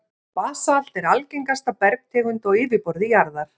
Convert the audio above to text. Basalt er algengasta bergtegund á yfirborði jarðar.